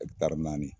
naani